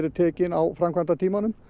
tekin á framkvæmdatímanum